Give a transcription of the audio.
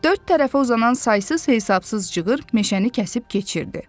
Dörd tərəfə uzanan saysız-hesabsız cığır meşəni kəsib keçirdi.